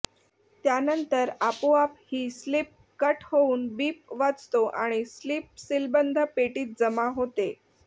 त्यानंतर आपोआप ही स्लिप कट होऊन बीप वाजतो आणि स्लिप सीलबंद पेटीत जमा होते